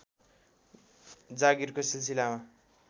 जागीरको सिलसिलामा